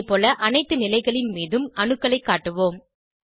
அதேபோல அனைத்து நிலைகளின் மீதும் அணுக்களைக் காட்டுவோம்